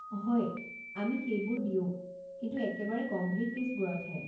হয়, আমি সেইবোৰো দিওঁ, কিন্তু একেবাৰে গম্ভীৰ কে'ছবোৰতহে।